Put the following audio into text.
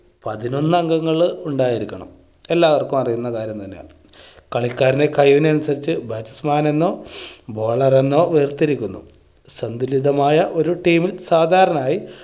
പതിനൊന്ന് അംഗങ്ങള് ഉണ്ടായിരിക്കണം എല്ലാവർക്കും അറിയുന്ന കാര്യം തന്നെയാണ്. കളിക്കാരുടെ കഴിവിന് അനുസരിച്ച് bats man നെന്നോ bowler എന്നോ വേർതിരിക്കുന്നു. സന്തുലിതമായ ഒരു team ൽ സാധാരണായി